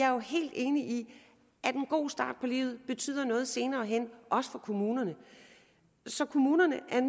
er helt enig i at en god start på livet betyder noget senere hen også for kommunerne så kommunerne er